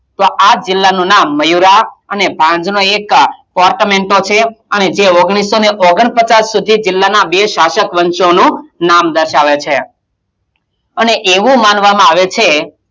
તો આજ જિલ્લાનું નામ મયૂરાં અને ભાંજ નો એકકા korthomento છે અને જે ઓગણીસો ઓગણપચાસ સુધી જિલ્લાનાં બે શાસક વંશોનું નામ દર્શાવે છે અને એવું માનવામાં આવે છે,